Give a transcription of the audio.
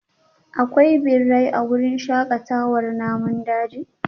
Akwai birai a wurin shakatawar namun daji?